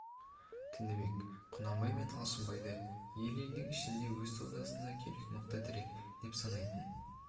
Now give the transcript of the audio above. тінібек құнанбай мен алшынбайды ел-елдің ішіндегі өз саудасына керек мықты тірек деп санайтын